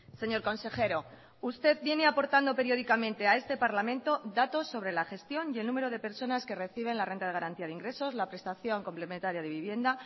señor consejero usted viene aportando periódicamente a este parlamento datos sobre la gestión y el número de personas que reciben la renta de garantía de ingresos la prestación complementaria de vivienda